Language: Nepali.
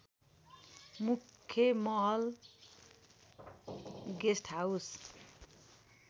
मुख्‍य महल गेस्‍टहाउस